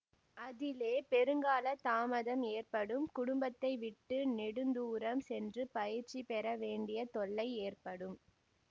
அதிலே பெரு கால தாமதம் ஏற்படும் குடும்பத்தை விட்டு நெடுந்தூரம் சென்று பயிற்சி பெறவேண்டிய தொல்லை ஏற்படும்